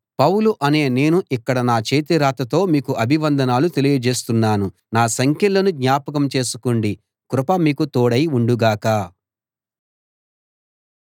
పౌలు అనే నేను ఇక్కడ నా చేతి రాతతో మీకు అభివందనాలు తెలియజేస్తున్నాను నా సంకెళ్ళను జ్ఞాపకం చేసుకోండి కృప మీకు తోడై ఉండుగాక